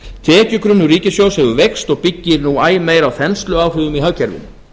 tekjugrunnur ríkissjóði hefur veikst og byggir nú æ meir á þensluáhrifum í hagkerfinu